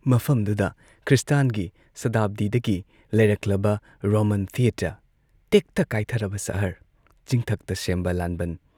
ꯃꯐꯝꯗꯨꯗ ꯈ꯭ꯔꯤꯁꯇꯥꯟꯒꯤ ꯁꯇꯥꯕꯗꯤꯗꯒꯤ ꯂꯩꯔꯛꯂꯕ ꯔꯣꯃꯥꯟ ꯊꯤꯌꯦꯇꯔ, ꯇꯦꯛꯊ-ꯀꯥꯏꯊꯔꯕ ꯁꯍꯔ, ꯆꯤꯡꯊꯛꯇ ꯁꯦꯝꯕ ꯂꯥꯟꯕꯟ